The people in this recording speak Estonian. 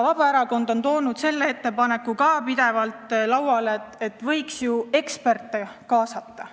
Vabaerakond on toonud pidevalt lauale ettepaneku, et võiks ju eksperte kaasata.